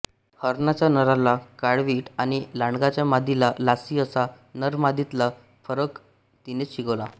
हरणाच्या नराला काळवीट आणि लांडग्याच्या मादीला लासी असा नरमादीतला फरक तिनेच शिकविला